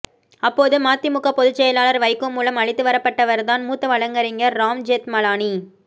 அப்போது மதிமுக பொதுச்செயலாளர் வைகோ மூலம் அழைத்து வரப்பட்டவர்தான் மூத்த வழக்கறிஞர் ராம் ஜெத்மலானி